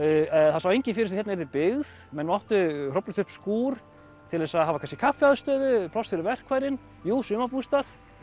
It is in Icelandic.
það sá enginn fyrir sér að hérna yrði byggð menn máttu hrófla upp skúr til þess að hafa kannski kaffiaðstöðu og pláss fyrir verkfærin jú sumarbústað